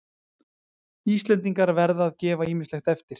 Íslendingar verða að gefa ýmislegt eftir